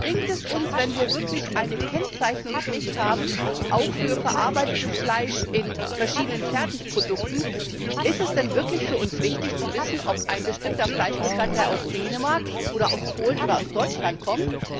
Aber was bringt es uns, wenn wir wirklich eine Kennzeichnungspflicht auch für verarbeitetes Fleisch in verschiedenen Fertigprodukten haben? Ist es denn für uns wirklich wichtig zu wissen, ob ein bestimmter Fleischbestandteil aus Dänemark oder aus Polen oder aus Deutschland kommt?